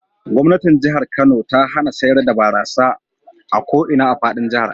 Gwamnatin Jihar Kano ta hana sayar da barasa a ko ina a fadin jihar.